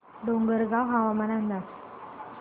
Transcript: डोंगरगाव हवामान अंदाज